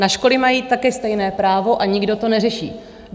Na školy mají také stejné právo a nikdo to neřeší.